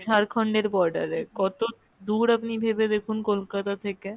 ঝাড়খণ্ড এর border এ, কতো দূর আপনি ভেবে দেখুন কলকাতা থেকে।